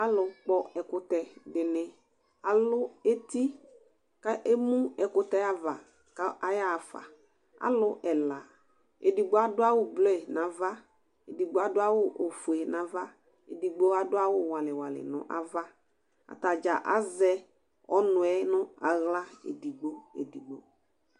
Alʋ kpɔ ɛkʋtɛ dɩnɩ alʋ eti kʋ emu ɛkʋtɛ ava kʋ ayaɣa faAlʋ ɛna: edigbo adʋ awʋ blue nava, edigbo adʋ awʋ ofue nava, edigbo adʋ awʋ walɩwalɩ nʋ avaAtadza azɛ ɔnʋɛ nʋ aɣla